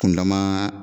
Kun dama